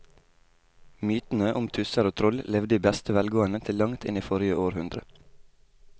Mytene om tusser og troll levde i beste velgående til langt inn i forrige århundre.